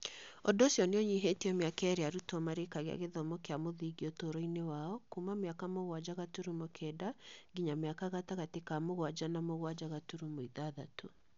Ũndũ ũcio nĩ ũnyihĩtie mĩaka ĩrĩa arutwo marĩkagia gĩthomo kĩa mũthingi ũtũũro-inĩ wao kuuma mĩaka mũgwanja gaturumo kenda nginya mĩaka gatagatĩ ka mũgwanja na mũgwanja gaturumo ithathatũ.